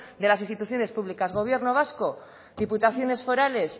de las instituciones públicas gobierno vasco diputaciones forales